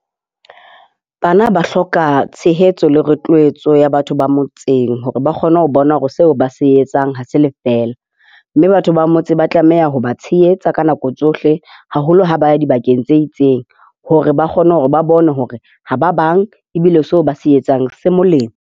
Bana ba hloka tshehetso le roux ya batho ba motseng hore ba kgone ho bona hore seo ba se etsang ha se lefela. Mme batho ba motse ba tlameha ho ba tshehetsa ka nako tsohle haholo ha ba ya dibakeng tse itseng hore ba kgone hore ba bone hore ha ba bang, ebile seo ba se etsang se molemo.